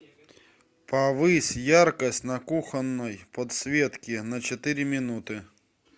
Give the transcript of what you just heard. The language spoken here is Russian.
повысь яркость на кухонной подсветке на четыре минуты